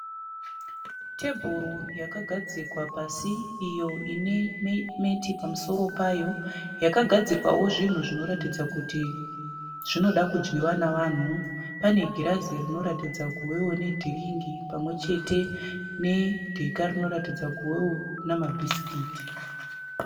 Tebhuru yakagadzikwa pasi iyo ine meti pamusoro payo yakagadzikwawo zvinhu zvinoratidza kuti zvinoda kudyiwa nevanhu. Panegirazi rinoradza kuvawo nedhiringi pamwechete nedheka rinoratidza kuvewo nemabhisikiti.